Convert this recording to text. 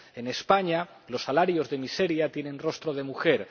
en España, los salarios de miseria tienen rostro de mujer